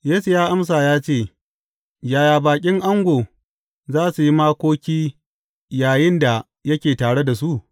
Yesu ya amsa ya ce, Yaya baƙin ango za su yi makoki yayinda yake tare da su?